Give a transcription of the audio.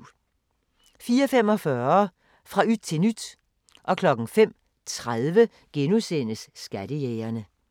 04:45: Fra yt til nyt 05:30: Skattejægerne *